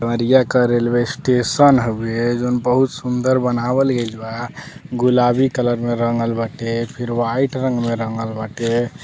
देवरियाँ क railway station हवे जवन बहुत सुंदर बनावल गइल बा गुलाबी कलर में रंगल बाटे फिर वाइट रंग में रंगल बाटे --